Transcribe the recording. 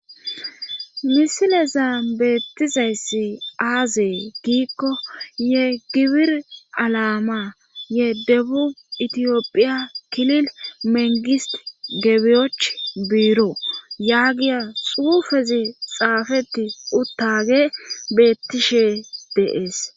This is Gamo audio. misileza beettizayssi aazee giikko ye gibir alaama ye debu itiyophiya kilil mengist gebiyoch biiro yaagiya xuufezi xaafeti uttaage beettishe deees